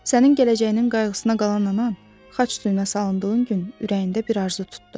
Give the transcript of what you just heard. Sənin gələcəyinin qayğısına qalan anan xaç suyuna salındığın gün ürəyində bir arzu tutdu.